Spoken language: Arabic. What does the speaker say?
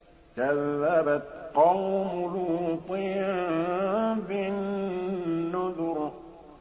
كَذَّبَتْ قَوْمُ لُوطٍ بِالنُّذُرِ